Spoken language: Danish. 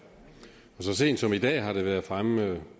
så sent som i dag har det været fremme